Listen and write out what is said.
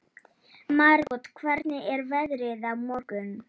Margot, hvernig er veðrið á morgun?